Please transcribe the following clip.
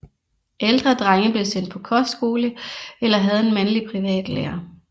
Ældre drenge blev sendt på kostskole eller havde en mandlig privatlærer